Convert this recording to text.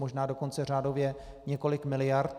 Možná dokonce řádově několik miliard.